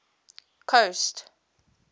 coast